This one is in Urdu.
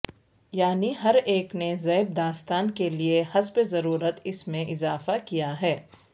یعنی ہر ایک نے زیب داستاں کے لیے حسب ضرورت اس میں اضافہ کیا ہے